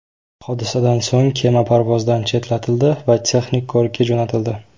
Hodisadan so‘ng kema parvozdan chetlatildi va texnik ko‘rikka jo‘natildi.